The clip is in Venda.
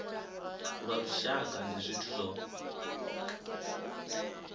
lwa lushaka ndi zwithu zwo